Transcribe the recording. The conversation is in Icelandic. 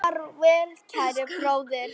Far vel kæri bróðir.